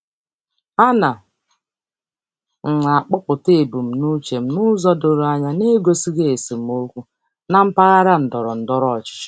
Ana m akọpụta ebumnuche m n'ụzọ doro anya na-egosighi esemokwu na mpaghara ndọrọ ndọrọ ọchịchị.